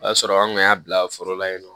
O y'a sɔrɔ an kun y'a bila foro la yen nɔ